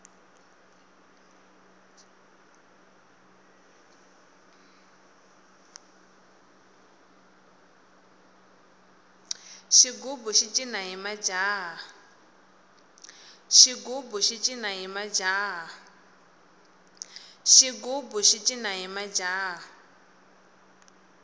xigubu xi cina hi majaha